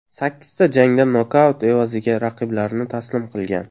Sakkizta jangda nokaut evaziga raqiblarini taslim qilgan.